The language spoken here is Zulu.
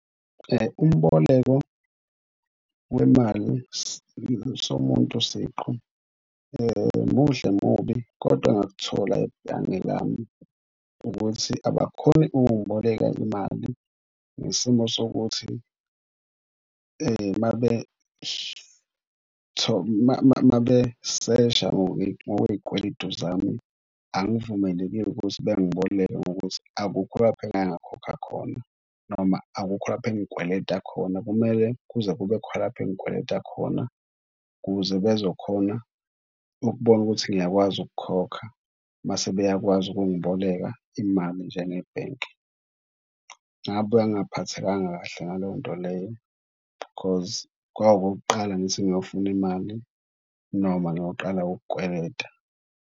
Umboleko wemali somuntu siqu muhle, mubi kodwa engakuthola ebhange lami ukuthi abakhoni ukungiboleka imali ngesimo sokuthi mabesesha ngokwey'kweletu zami, angivumelekile ukuthi bengiboleke ngokuthi akukho lapho engake ngakhokha khona noma akukho lapha engikweleta khona. Kumele kuze kube khona lapha engikweleta khona ukuze bezokhona ukubona ukuthi ngiyakwazi ukukhokha mase beyakwazi ukungiboleka imali njengebhenki. Ngabuya ngaphathekanga kahle ngaleyo nto leyo because kwakwukokuqala ngithi ngiyofuna imali noma ngiyoqala ukweleta.